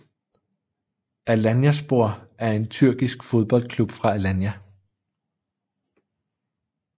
Alanyaspor er en tyrkisk fodboldklub fra Alanya